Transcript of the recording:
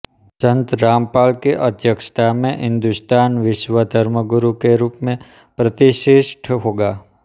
संत रामपाल की अध्यक्षता में हिंदुस्तान विश्व धर्मगुरु के रूप में प्रतिष्ठित होगा